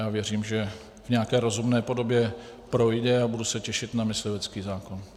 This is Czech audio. Já věřím, že v nějaké rozumné podobě projde, a budu se těšit na myslivecký zákon.